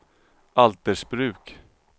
Altersbruk